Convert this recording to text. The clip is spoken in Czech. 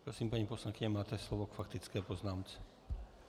Prosím, paní poslankyně, máte slovo k faktické poznámce.